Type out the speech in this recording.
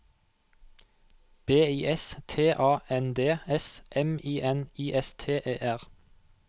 B I S T A N D S M I N I S T E R